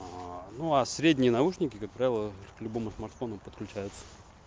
ну а средние наушники как правило к любому смартфону подключаются